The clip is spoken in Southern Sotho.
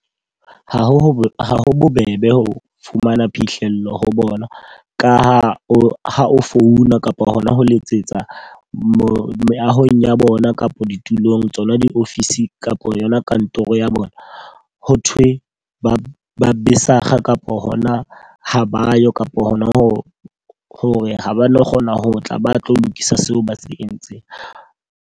Ha ho ha ho bobebe ho fumana phihlello ho bona. Ka ha o ha o founa kapa hona ho letsetsa moo meahong ya bona kapa ditulong tsona di-office kapo yona kantoro ya bona. Ho thwe ba besakga kapo hona ho ba yo kapo ho na ho hore ha ba no kgona ho tla ba tlo lokisa seo ba se entseng.